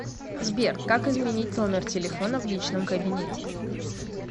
сбер как изменить номер телефона в личном кабинете